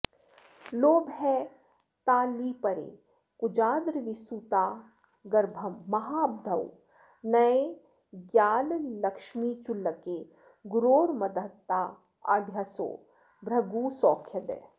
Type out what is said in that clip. लोभस्ताल्लिपरे कुजाद्रविसुतान्गर्भं महाब्धौ नये ज्ञालक्ष्मीचुल्लके गुरोर्मदधताढ्योऽसौ भृगुः सौख्यदः